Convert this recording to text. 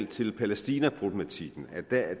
til palæstinaproblematikken at der i